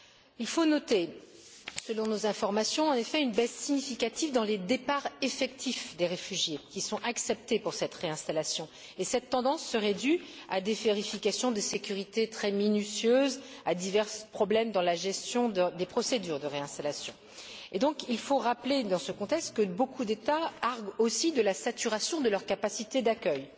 Il faut noter en effet, selon nos informations, une baisse significative dans les départs effectifs des réfugiés qui sont acceptés pour cette réinstallation, et cette tendance serait due à des vérifications de sécurité très minutieuses et à divers problèmes dans la gestion des procédures de réinstallation. Il faut donc rappeler, dans ce contexte, que beaucoup d'États arguent aussi de la saturation de leur capacité d'accueil